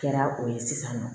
Kɛra o ye sisan nɔ